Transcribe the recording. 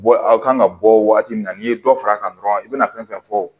aw kan ka bɔ wagati min na n'i ye dɔ fara a kan dɔrɔn i bɛna fɛn fɛn fɔ